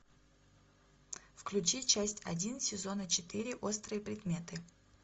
включи часть один сезона четыре острые предметы